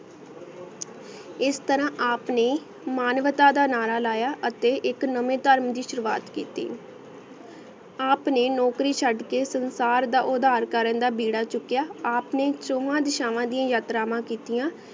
ਇਸ ਤਾਰਾ ਆਪ ਨੇ ਮਾਨਵਤਾ ਦਾ ਨਾਰਾ ਲਾਯਾ ਅਤੀ ਇਕ ਨਵੀ ਟਰਮ ਦੀ ਸ਼ੁਰੁਆਤ ਕੀਤੀ ਆਪ ਨੇ ਨੋਕਰੀ ਚੜ ਕੇ ਸੰਸਾਰ ਦਾ ਓਦਰ ਕਰਨ ਦਾ ਬਯ੍ਰ੍ਰਾ ਚੁਕਿਯਾ ਆਪ ਨੇ ਛੋਵਾ ਦਿਸ਼੍ਵਾ ਦਿਯਾ ਯਾਤ੍ਰਾਮਾ ਕਿਤਿਯਾਂ